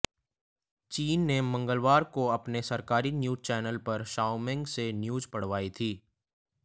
चीन ने मंगलवार को अपने सरकारी न्यूज चैनल पर शाओमेंग से न्यूज पढ़वाई थी